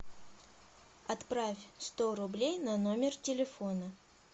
отправь сто рублей на номер телефона